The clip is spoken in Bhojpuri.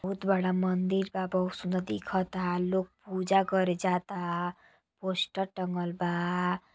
बहुत बड़ा मंदिर बा बहुत सूंदर दिखता। लोग पूजा करे जाता पोस्टर टँगल बा।